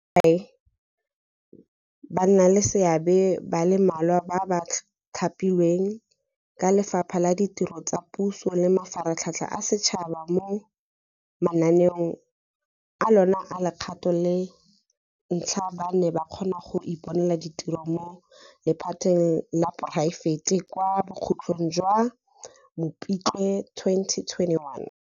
Sekai, bannaleseabe ba le mmalwa ba ba thapilweng ke Lefapha la Ditiro tsa Puso le Mafaratlhatlha a Setšhaba mo mananeong a lona a legato la ntlha ba ne ba kgonne go iponela ditiro mo lephateng la poraefete kwa bokhutlong jwa Mopitlwe 2021.